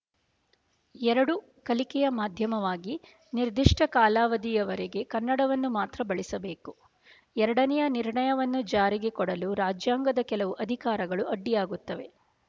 ಎರಡು ಕಲಿಕೆಯ ಮಾಧ್ಯಮವಾಗಿ ನಿರ್ದಿಷ್ಟ ಕಾಲಾವಧಿಯವರೆಗೆ ಕನ್ನಡವನ್ನು ಮಾತ್ರ ಬಳಿಸಬೇಕು ಎರಡನೆಯ ನಿರ್ಣಯವನ್ನು ಜಾರಿಗೆ ಕೊಡಲು ರಾಜ್ಯಾಂಗದ ಕೆಲವು ಅಧಿಕಾರಗಳು ಅಡ್ಡಿಯಾಗುತ್ತವೆ